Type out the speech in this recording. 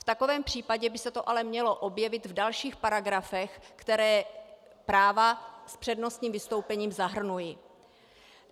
V takovém případě by se to ale mělo objevit v dalších paragrafech, které práva s přednostním vystoupením zahrnují.